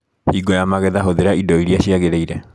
Hingo ya magetha hũthĩra indo iria ciagĩrĩire.